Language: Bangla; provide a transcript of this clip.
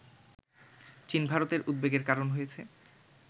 চীন ভারতের উদ্বেগের কারণ হয়েছে